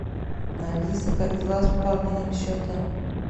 алиса как дела с пополнением счета